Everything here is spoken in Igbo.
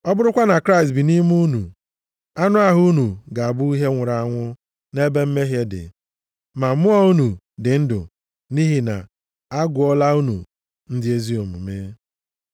Ọ bụrụkwa na Kraịst bi nʼime unu, anụ ahụ unu ga-abụ ihe nwụrụ anwụ nʼebe mmehie dị, ma mmụọ unu dị ndụ nʼihi na a gụọla unu na ndị ezi omume.